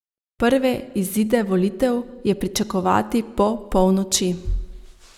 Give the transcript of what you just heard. Prve izide volitev je pričakovati po polnoči.